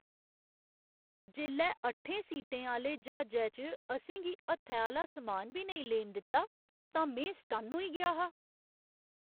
जेल्लै अट्ठें सीटें आह्‌ले ज्हाजै च असें गी हत्थै आह्‌ला समान बी नेईं लेन दित्ता तां में सटन्न होई गेआ हा।